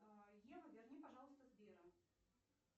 ева верни пожалуйста сбера